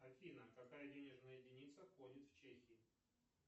афина какая денежная единица ходит в чехии